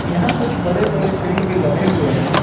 यहां कुछ बड़े बड़े पेड़ भी लगे हुए हैं।